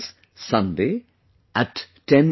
Sunday at 10 am